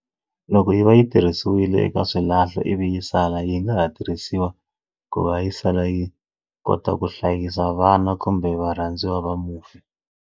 Loko yi va yi tirhisiwile eka swilahlo ivi yi sala yi nga ha tirhisiwa ku va yi sala yi kota ku hlayisa vana kumbe varhandziwa va mufi.